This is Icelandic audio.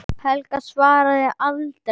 Helgi varð aldrei samur.